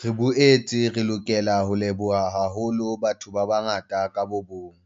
Re boetse re lokela ho leboha haholo batho ba bangata ka bo mong,